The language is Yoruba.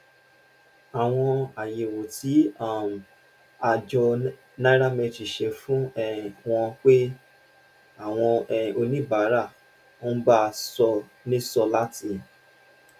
àwọn àyẹwò tí um àjọ nairametrics ṣe fi um hàn pé àwọn um oníbàárà ń bá ṣó nìṣó láti